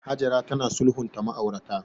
Hajara tana sulhunta ma'aurata.